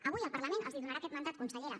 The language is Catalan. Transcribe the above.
avui el parlament els donarà aquest mandant consellera